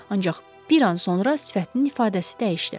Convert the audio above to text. Ancaq bir an sonra sifətinin ifadəsi dəyişdi.